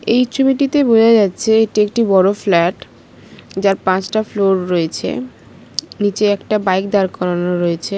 এই ছবিটিতে বোঝা যাচ্ছে এটি একটি বড় ফ্ল্যাট যার পাঁচটা ফ্লোর রয়েছে নিচে একটা বাইক দাঁড় করানো রয়েছে।